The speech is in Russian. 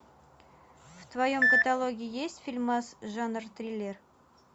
в твоем каталоге есть фильмас жанр триллер